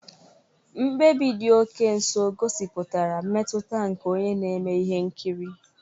Mkpebi dị oke nso gosipụtara mmetụta nke onye na-eme ihe nkiri.